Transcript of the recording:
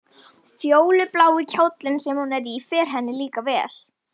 Fjólublái kjóllinn sem hún er í fer henni líka vel.